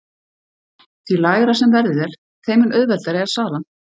Því lægra sem verðið er þeim mun auðveldari er salan.